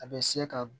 A bɛ se ka